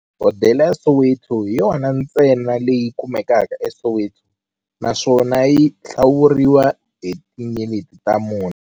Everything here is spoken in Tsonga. Hodela ya Soweto hi yona ntsena leyi kumekaka eSoweto, naswona yi hlawuriwa hi tinyeleti ta mune.